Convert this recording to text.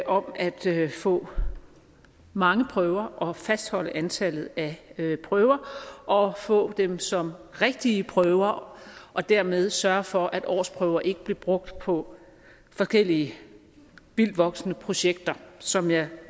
om at få mange prøver og fastholde antallet af prøver og få dem som rigtige prøver og dermed sørge for at årsprøver ikke blev brugt på forskellige vildtvoksende projekter som jeg